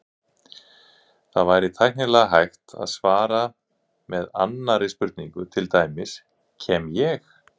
Það væri tæknilega hægt að svara með annarri spurningu, til dæmis: Kem ég?